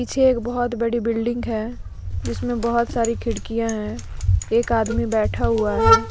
पीछे एक बहुत बड़ी बिल्डिंग है जिसमें बहोत सारी खिड़कियां हैं एक आदमी बैठा हुआ है।